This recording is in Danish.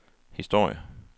historie